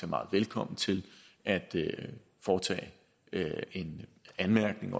meget velkommen til at foretage en anmærkning